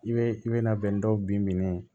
I bɛ i bɛ na bɛn dɔw bin minɛn